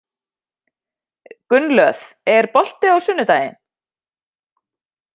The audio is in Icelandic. Gunnlöð, er bolti á sunnudaginn?